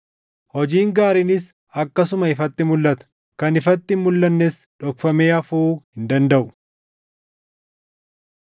Hojiin gaariinis akkasuma ifatti mulʼata; kan ifatti hin mulʼannes dhokfamee hafuu hin dandaʼu.